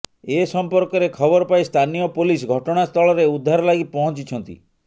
ଏସମ୍ପର୍କରେ ଖବରପାଇ ସ୍ଥାନୀୟ ପୋଲିସ ଘଟଣାସ୍ଥଳରେ ଉଦ୍ଧାର ଲାଗି ପହଞ୍ଚିଛନ୍ତି